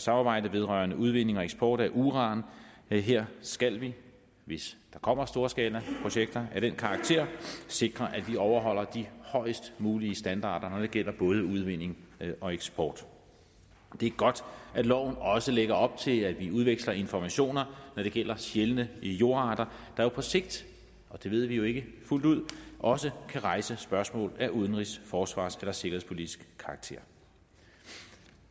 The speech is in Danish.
samarbejde vedrørende udvinding og eksport af uran her skal vi hvis der kommer storskalaprojekter af den karakter sikre at de overholder de højst mulige standarder når det gælder både udvinding og eksport det er godt at loven også lægger op til at vi udveksler informationer når det gælder sjældne jordarter der jo på sigt og det ved vi jo ikke fuldt ud også kan rejse spørgsmål af udenrigs forsvars eller sikkerhedspolitisk karakter